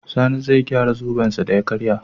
sani zai gyara zoben sa da ya karye